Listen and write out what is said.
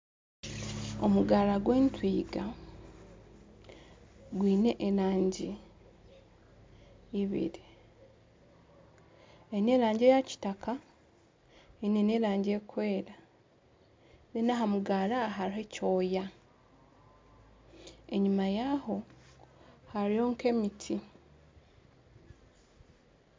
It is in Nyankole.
Omugaara gw'entwiga gwine erangi ibiri eine erangi eya kitaka n'erangi erikwera aha mugaara haruho ekyoya enyima yaho hariyo nk'emiti.